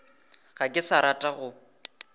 ga ke sa rata go